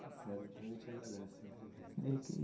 Está certo, então a gente agradece a entrevista.